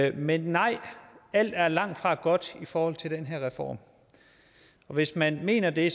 i men nej alting er langtfra godt i forhold til den her reform og hvis man mener det